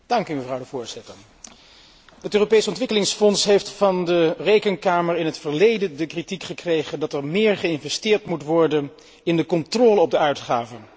Mevrouw de Voorzitter, het Europees Ontwikkelingsfonds heeft van de Rekenkamer in het verleden de kritiek gekregen dat er meer geïnvesteerd moet worden in de controle op de uitgaven.